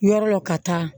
Yɔrɔ lɔ ka taa